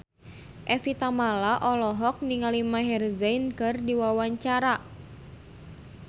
Evie Tamala olohok ningali Maher Zein keur diwawancara